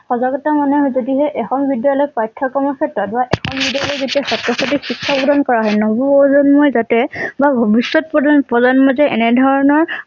সজাগতা মানে যদিহে এখন বিদ্যালয়ত পাঠ্যক্ৰম আছে যেতিয়াই ছাত্ৰ ছাত্ৰীৰ শিক্ষা প্ৰদান কৰা হয়। নৱপ্ৰজন্মই যাতে বা ভৱিষ্যত প্ৰজনপ্ৰজন্মই যে এনে ধৰণৰ